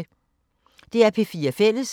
DR P4 Fælles